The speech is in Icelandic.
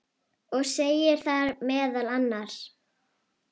og segir þar meðal annars